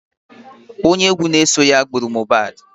Onye egwu na-eso ya gburu Mobadh